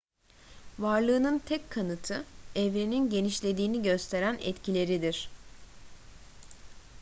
varlığının tek kanıtı evrenin genişlediğini gösteren etkileridir